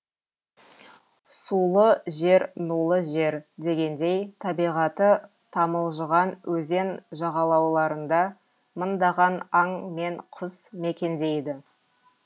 сулы жер нулы жер дегендей табиғаты тамылжыған өзен жағалауларында мыңдаған аң мен құс мекендейді